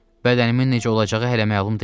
Bədənimin necə olacağı hələ məlum deyil.